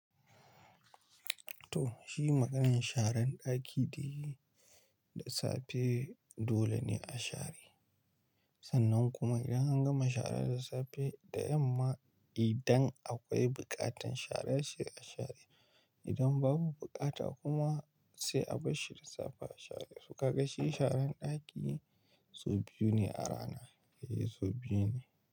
To shi maganan sharan ɗaki de, da safe dole ne a share. Sannan kuma idan an gama shara da safe da yamma. Idan akwai buƙatar share sai a share. Idan babu bukata kuma sai a bar shi da safe a share. So kaga shi sharan ɗaki sau biyu ne a rana, eh sau biyu ne.